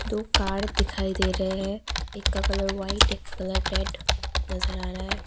दो कार दिखाई दे रहे है एक का कलर व्हाइट एक का कलर रेड नजर आ रहा है।